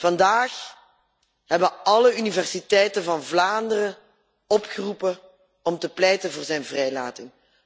Vandaag hebben alle universiteiten van Vlaanderen ertoe opgeroepen om te pleiten voor zijn vrijlating.